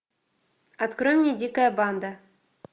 открой мне дикая банда